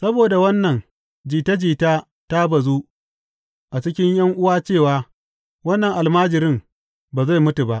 Saboda wannan, jita jita ta bazu a cikin ’yan’uwa cewa wannan almajirin ba zai mutu ba.